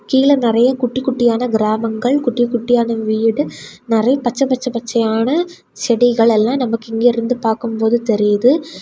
கீழ நிறைய குட்டி குட்டியான கிராமங்கள் குட்டி குட்டியான வீடு நிறைய பச்சை பச்ச பச்சையான செடிகள் எல்லாம் நமக்கு இங்கிருந்து பாக்கும்போது தெரியுது.